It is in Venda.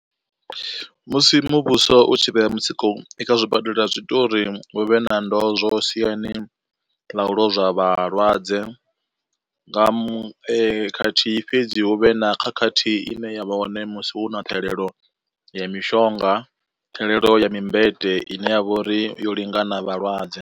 Musi muvhuso u tshi vhea mutsiko i kha zwibadela zwi ita uri hu vhe na ndozwo siani ḽa u lozwa vhalwadze. Nga khathihi fhedzi hu vhe na khakhathi ine ya vha hone musi hu na ṱhahelelo ya mishonga, ṱhahelelo ya mimbete ine ya vha uri yo lingana vhalwadze.